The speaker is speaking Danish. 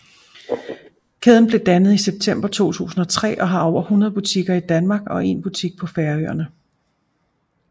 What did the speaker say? Kæden blev dannet i september 2003 og har over 100 butikker i Danmark og 1 butik på Færøerne